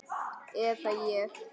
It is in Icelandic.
Eða ég.